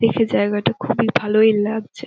দেখে জায়গাটা খুবই ভালই লাগছে |